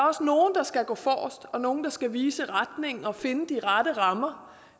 også nogle der skal gå forrest og nogle der skal vise retningen og finde de rette rammer